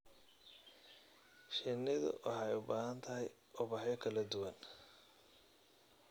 Shinnidu waxay u baahan tahay ubaxyo kala duwan.